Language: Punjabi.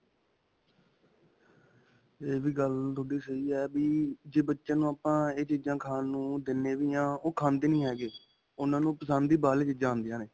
ਇਹ ਵੀ ਗੱਲ ਤੁਹਾਡੀ ਸਹੀ ਹੈਂ ਕਿ ਜੇ ਬੱਚਿਆਂ ਨੂੰ ਆਪਾਂ ਇਹ ਚੀਜ਼ਾਂ ਖਾਣ ਨੂੰ ਦਿੰਨੇ ਵੀ ਆ ਓਹ ਖਾਂਦੇ ਨਹੀਂ ਹੈਗੇ. ਉਨ੍ਹ੍ਨਾਂ ਨੂੰ ਪਸੰਦ ਹੀ ਬਾਹਰਲਿਆਂ ਚੀਜ਼ਾ ਆਉਂਦੀਆਂ ਨੇ.